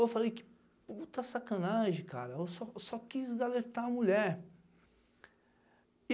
Eu falei que puta sacanagem, cara, eu só quis alertar a mulher.